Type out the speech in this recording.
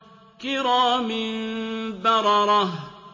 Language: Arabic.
كِرَامٍ بَرَرَةٍ